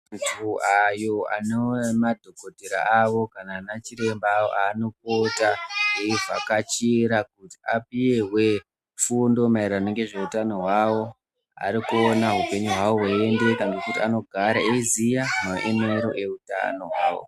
Antu ayo ane madhokotera awo kana anachiremba awo anopota eivhakachira kuti apihwe fundo maererano ngezveutano hwawo. Ari kuona upenyu hwavo hweiendeka ngekuti anogare eiziya maemero eutano hwawo.